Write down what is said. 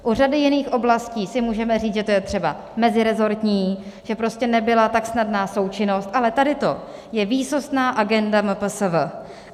U řady jiných oblasti si můžeme říct, že to je třeba meziresortní, že prostě nebyla tak snadná součinnost, ale tady to je výsostná agenda MPSV.